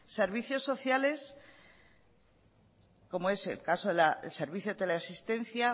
servicios sociales como es el caso del servicio de teleasistencia